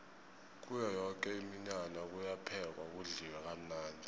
kuyo yoke iminyanya kuyaphekwa kudliwe kamnandi